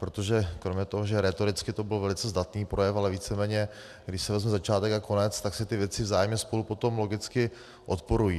Protože kromě toho, že rétoricky to byl velice zdatný projev, ale víceméně, když si vezmu začátek a konec, tak si ty věci vzájemně spolu potom logicky odporují.